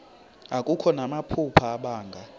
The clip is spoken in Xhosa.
akho namaphupha abanga